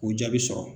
K'u jaabi sɔrɔ